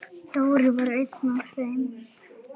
Dóri var einn af þeim.